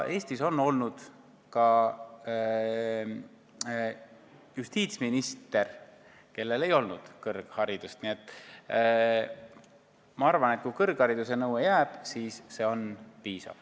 Eestis on olnud ka justiitsminister, kellel ei olnud kõrgharidust, nii et ma arvan, et kui jääb kõrghariduse nõue, siis see on piisav.